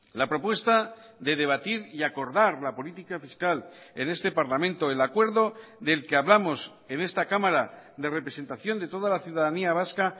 la propuesta de debatir y acordar la política fiscal en este parlamento el acuerdo del que hablamos en esta cámara de representación de toda la ciudadanía vasca